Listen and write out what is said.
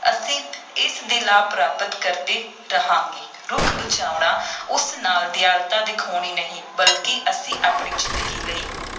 ਅਸੀਂ ਇਸ ਦੇ ਲਾਭ ਪ੍ਰਾਪਤ ਕਰਦੇ ਰਹਾਂਗੇ, ਰੁੱਖ ਬਚਾਉਣਾ ਉਸ ਨਾਲ ਦਿਆਲਤਾ ਦਿਖਾਉਣੀ ਨਹੀਂ, ਬਲਕਿ ਅਸੀਂ ਆਪਣੀ ਜ਼ਿੰਦਗੀ ਲਈ